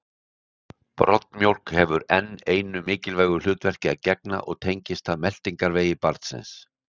Broddmjólk hefur enn einu mikilvægu hlutverki að gegna og tengist það meltingarvegi barnsins.